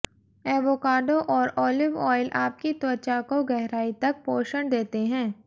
avocado और olive oil आपकी त्वचा को गहराई तक पोषण देते हैं